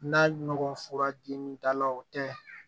N'a nɔgɔ fura dimi dala o tɛ